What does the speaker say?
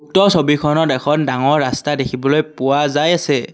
উক্ত ছবিখনত এখন ডাঙৰ ৰাস্তা দেখিবলৈ পোৱা যায় আছে।